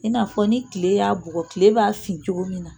I n'a fɔ ni tile y'a bugɔ, tile b'a fin cogo min na.